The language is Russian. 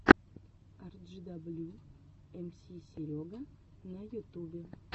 арджидаблю эмси серега на ютубе